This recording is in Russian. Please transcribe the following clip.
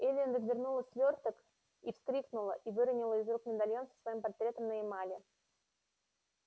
эллин развернула свёрток вскрикнула и выронила из рук медальон со своим портретом на эмали